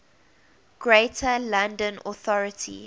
greater london authority